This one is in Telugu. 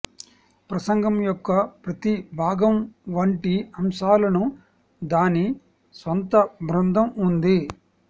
ప్రసంగం యొక్క ప్రతి భాగం వంటి అంశాలను దాని స్వంత బృందం ఉంది